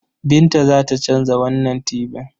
Binta za ta canza wannan tibin.